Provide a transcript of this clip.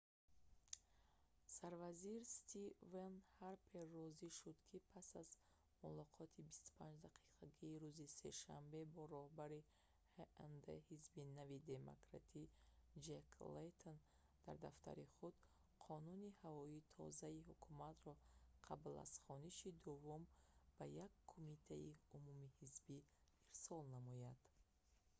сарвазир стивен ҳарпер розӣ шуд ки пас аз мулоқоти 25-дақиқагии рӯзи сешанбе бо роҳбари ҳнд ҳизби нави демократӣ ҷек лейтон дар дафтари худ «қонуни ҳавои тоза»-и ҳукуматро қабл аз хониши дуввум ба як кумитаи умумиҳизбӣ ирсол намояд